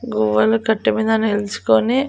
గువ్వలు కట్టే మీద నిల్చుకొని.